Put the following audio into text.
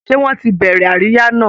Ṣé wọ́n ti bẹ̀rẹ̀ àríyá náà?